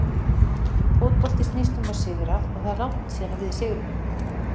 Fótbolti snýst um að sigra og það er langt síðan við sigruðum.